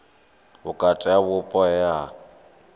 vhukati ha vhupo he ha